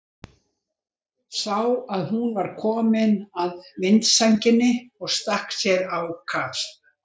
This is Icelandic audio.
Sá að hún var komin að vindsænginni og stakk sér á kaf.